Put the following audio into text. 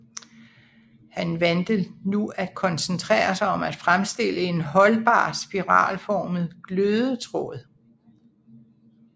Han valgte nu at koncentrere sig om at fremstille en holdbar spiralformet glødetråd